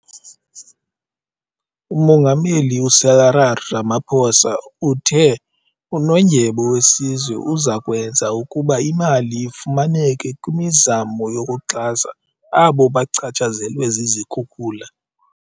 Umongameli u-Cyril Ramaphosa uthe uNondyebo weSizwe uza kwenza ukuba imali ifumaneke kwimizamo yokuxhasa abo bachatshazelwe zizikhukula.